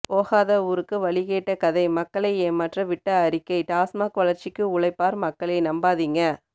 போகாத ஊருக்கு வழி கேட்ட கதை மக்களை ஏமாற்ற விட்ட அறிக்கை டாஸ்மார்க் வளர்ச்சிக்கு உழைப்பார் மக்களே நம்பாதீங்க